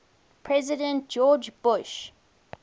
president george bush